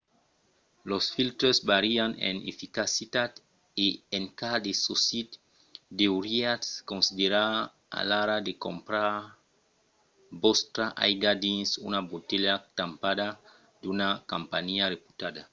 los filtres vàrian en eficacitat e en cas de socit deuriatz considerar alara de crompar vòstra aiga dins una botelha tampada d'una companhiá reputabla